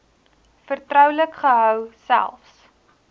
vertroulik gehou selfs